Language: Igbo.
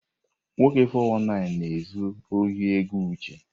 Nwoke 419 a na-ezu ohi ego Uche.